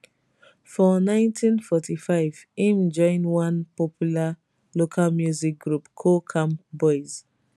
for 1945 im join one popular local music group coal camp boys